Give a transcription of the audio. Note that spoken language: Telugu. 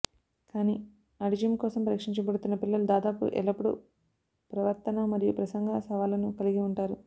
కానీ ఆటిజం కోసం పరీక్షించబడుతున్న పిల్లలు దాదాపు ఎల్లప్పుడూ ప్రవర్తనా మరియు ప్రసంగ సవాళ్లను కలిగి ఉంటారు